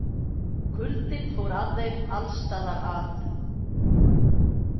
Kuldinn fór að þeim alls staðar að.